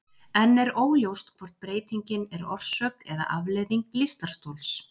Enn er óljóst hvort breytingin er orsök eða afleiðing lystarstols.